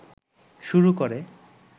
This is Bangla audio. শুরু করে